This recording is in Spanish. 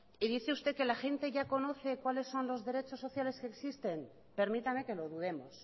y dice usted que la gente ya conoce cuáles son los derechos sociales que existen permítame que lo dudemos